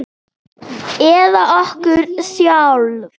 Eða okkur sjálf?